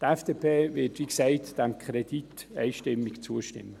Die FDP wird diesem Kredit, wie gesagt, einstimmig zustimmen.